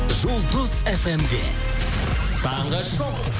жұлдыз фм де таңғы шоу